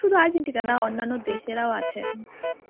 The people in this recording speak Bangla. শুধু আর্জেন্টিনা না অন্যান্য দেশেরাও আছে.